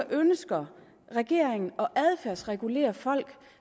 ønsker regeringen at adfærdsregulere folk